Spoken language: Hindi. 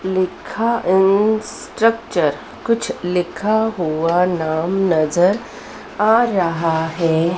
लिखा इन स्ट्रक्चर कुछ लिखा हुआ नाम नजर आ रहा है।